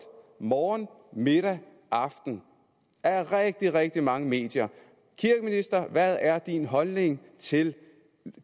morgen middag og aften af rigtig rigtig mange medier kirkeminister hvad er din holdning til